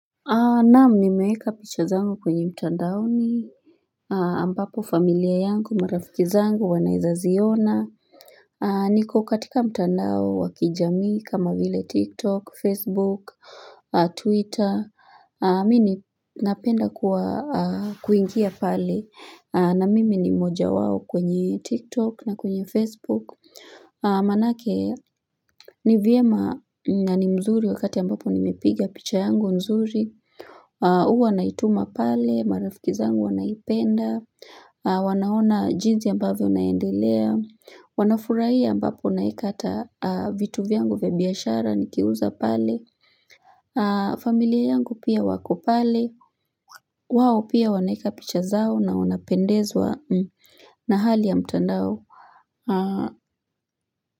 Na'am, nimeeka picha zangu kwenye mtandaoni. Ambapo familia yangu, marafiki zangu wanaeza ziona. Niko katika mtandao wa kijami kama vile Tiktok, Facebook, Twitter. Mimi ni napenda kuingia pale na mimi ni mojawao kwenye Tiktok na kwenye Facebook. Manake ni vyema na ni mzuri wakati ambapo nimepiga picha yangu nzuri. Huwa naituma pale, marafiki zangu wanaipenda, wanaona jinsi ambavyo naendelea, wanafurahia ambapo naeka hata vitu vyangu vya biashara nikiuza pale, familia yangu pia wako pale, wao pia wanaeka picha zao na wanapendezwa na hali ya mtandao.